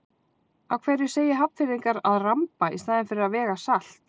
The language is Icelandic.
Af hverju segja Hafnfirðingar að ramba í staðinn fyrir að vega salt?